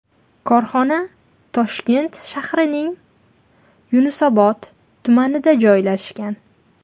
Korxona Toshkent shahrining Yunusobod tumanida joylashgan.